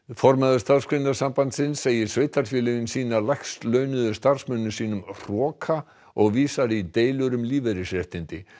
formaður Starfsgreinasambandsins segir sveitarfélögin sýna lægst launuðu starfsmönnum sínum hroka og vísar í deilur um lífeyrisréttindi